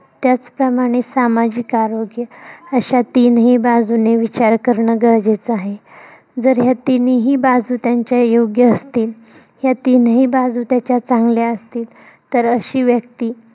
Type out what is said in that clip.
त्याच प्रमाणे सामाजिक आरोग्य अश्या तिन्ही बाजूंनी विचार करणं गरजेचं आहे. जर या तिनीही बाजू त्यांच्या योग्य असतील. ह्या तिन्ही बाजू त्याच्या चांगल्या असतील. तर, अशी व्यक्ती